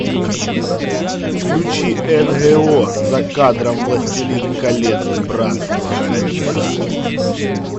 включи нго за кадром властелин колец братство кольца